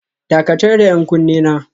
Dakatar da 'yan kunne na